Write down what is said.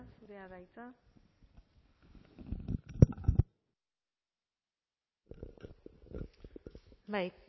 zurea da hitza bai